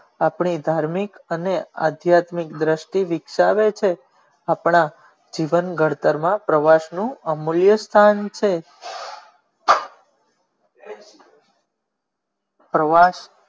આપણું ધાર્મિક અને આધ્યામિક દ્રષ્ટિ વિકસાવે છે આપણા જીવન ઘડતર માં પ્રવાસ નું અમૂલ્ય સ્થાન છે પ્રવાસ